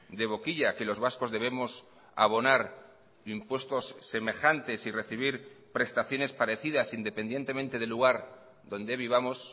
de boquilla que los vascos debemos abonar impuestos semejantes y recibir prestaciones parecidas independientemente del lugar donde vivamos